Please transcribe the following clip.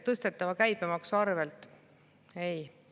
Tõstetava käibemaksu arvelt?